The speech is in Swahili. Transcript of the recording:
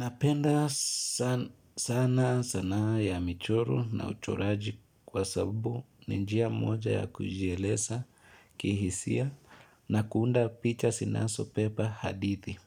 Napenda sana sanaa ya michoro na uchoraji kwa sabubu ninjia moja ya kujielesa kihisia na kuunda picha sinasopepa hadithi.